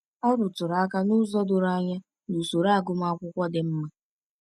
Ọ rụtụrụ aka n’ụzọ doro anya n’usoro agụmakwụkwọ dị mma.